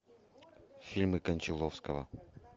фильмы кончаловского